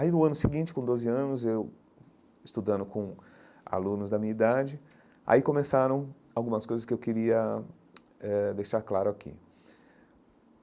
Aí, no ano seguinte, com doze anos, eu, estudando com alunos da minha idade, aí começaram algumas coisas que eu queria eh deixar claro aqui.